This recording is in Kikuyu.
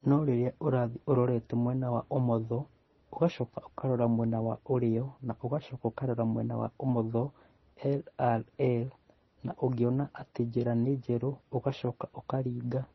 No rĩrĩa ũrathiĩ ũrorete mwena wa ũmotho, ũgacoka ũkarora mwena wa ũrĩo, na ũgacoka ũkarora mwena wa ũmotho (LRL) na ũngĩona atĩ njĩra nĩ njerũ ũgacoka ũkaringa.